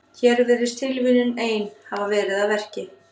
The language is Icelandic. Hér virðist tilviljunin ein hafa verið að verki.